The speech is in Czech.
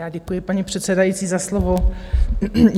Já děkuji, paní předsedající, za slovo.